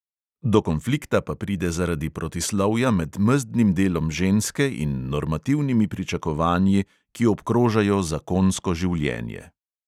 Do konflikta pa pride zaradi protislovja med mezdnim delom ženske in normativnimi pričakovanji, ki obkrožajo zakonsko življenje.